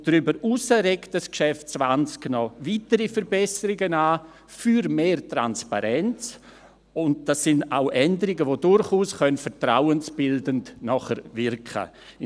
Und darüber hinaus regt das Geschäft 20 noch weitere Verbesserungen für mehr Transparenz an, und das sind auch Änderungen, die nachher durchaus vertrauensbildend wirken können.